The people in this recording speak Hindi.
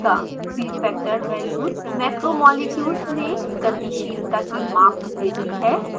bfactor वैल्यूज़ मैक्रोमॉलिक्यूल्स में गतिशीलता की माप देती हैं